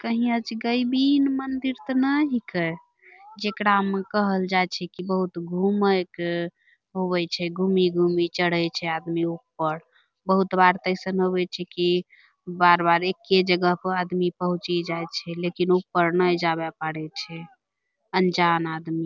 कहीं अजगैबीन मंदिर त नै हिकै जेकरा म कहल जाय छै कि बहुत घूमै क होबै छै घूमि-घूमि चढ़ै छै आदमी ऊपर बहुत बार तअ ऐसन होबै छै कि बार-बार एक्के जगह पअ आदमी पहुँचि जाय छे लेकिन ऊपर नाय जाबे पारै छे अनजान आदमी।